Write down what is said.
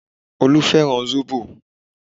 Olú fẹ́ràn zobo